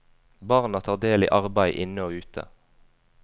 Barna tar del i arbeid inne og ute.